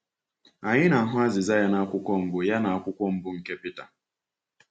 Anyị na-ahụ azịza ya n’akwụkwọ Mbụ ya n’akwụkwọ Mbụ nke Pita.